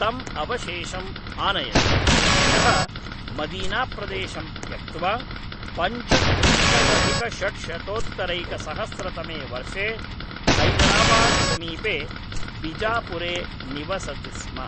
तम् अवशेषम् आनयत् यः मदीनाप्रदेशं त्यक्त्वा पञ्चत्रिंशदधिकषड्शतोत्तरैकसहस्रतमे वर्षे हैदराबाद्समीपे बिजापुरे निवसति स्म।